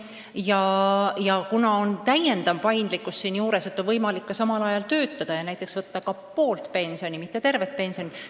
Ja lisandub ka täiendav paindlikkus, et on võimalik samal ajal töötada ja näiteks võtta ka poolt pensioni, mitte tervet pensioni.